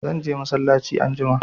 Zan je masallaci anjima